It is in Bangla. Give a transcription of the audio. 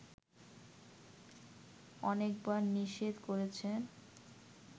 অনেকবার নিষেধ করেছেন